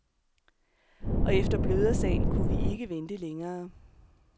Og efter blødersagen kunne vi ikke vente længere.